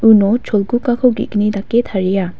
uno cholgugako ge·gni dake taria.